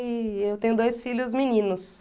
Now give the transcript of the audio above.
E eu tenho dois filhos meninos.